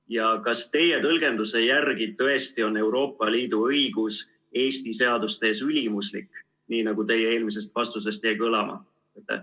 Ja kas teie tõlgenduse järgi tõesti on Euroopa Liidu õigus Eesti seaduste ees ülimuslik, nii nagu teie eelmisest vastusest jäi kõlama?